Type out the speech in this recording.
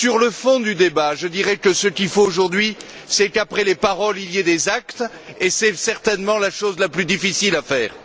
Sur le fond du débat, je dirais que ce qu'il faut aujourd'hui, c'est qu'après les paroles il y ait des actes, et c'est certainement la chose la plus difficile à faire.